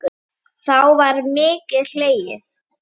Þá var mikið hlegið.